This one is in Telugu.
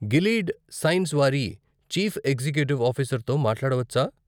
గిలీడ్ సైన్స్ వారి చీఫ్ ఎక్సేక్యూటివ్ ఆఫీసర్తో మాట్లాడవచ్చా?